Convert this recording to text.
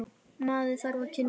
Maður þarf að kynnast henni!